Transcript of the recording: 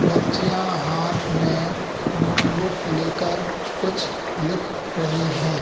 बच्चियां हाथ में नोटबुक ले कर कुछ लिख रहीं हैं।